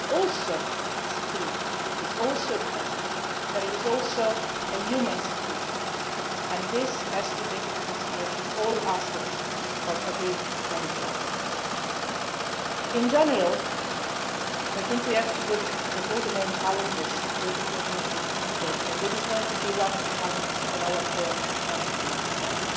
issue it is also a security issue and a defence issue, but it is also a human security issue. This has to take into consideration all aspects of everybody's life. In general, I think we have to look at all the main challenges with a coordinated approach, and this is going to be one of the challenges of our foreign and security policy in the months